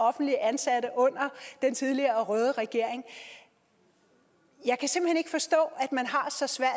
offentligt ansatte under den tidligere røde regering jeg kan simpelt hen ikke forstå at man har så svært